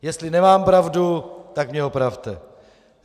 Jestli nemám pravdu, tak mě opravte.